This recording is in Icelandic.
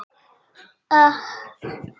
Hún las það ekki.